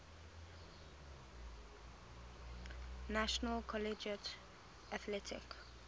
national collegiate athletic